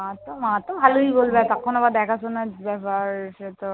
মা তো, মা তো ভালোই বলবে। তখন দেখাশোনার ব্যাপার।